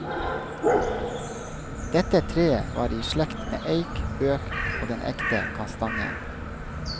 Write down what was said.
Dette treet var i slekt med eik, bøk og den ekte kastanjen.